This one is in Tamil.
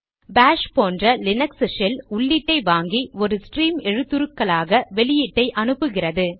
பாஷ் போன்ற லீனக்ஸ் ஷெல் உள்ளீட்டை வாங்கி ஒரு ஸ்ட்ரீம் எழுத்துருக்களாக வெளியீட்டை அனுப்புகிறது